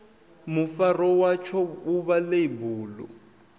mufaro watsho vhuvha ḽeibu ḽu